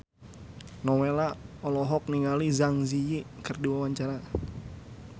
Nowela olohok ningali Zang Zi Yi keur diwawancara